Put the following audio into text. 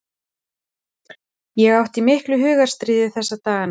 Ég átti í miklu hugarstríði þessa dagana.